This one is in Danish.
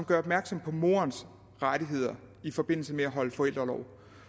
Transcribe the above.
gør opmærksom på moderens rettigheder i forbindelse med at holde forældreorlov